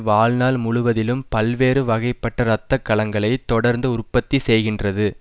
வாழ்நாள் முழுவதிலும் பல்வேறு வகைப்பட்ட இரத்த கலங்களை தொடர்ந்து உற்பத்தி செய்கின்றது